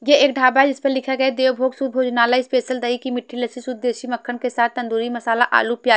ये एक ढाबा है जिस पर लिखा गया देव भोग सुद्ध भोजनालय स्पेशल दही की मिठ्ठी लस्सी सुद्ध देसी मक्खन के साथ तंदूरी मसाला आलू प्याज--